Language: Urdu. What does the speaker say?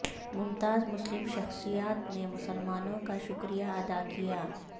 ممتاز مسلم شخصیات نے مسلمانوں کا شکریہ ادا کیا